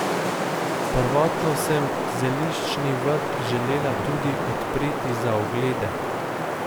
Prvotno sem zeliščni vrt želela tudi odpreti za oglede.